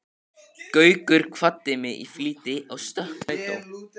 Gaukur kvaddi mig í flýti og stökk inn í strætó.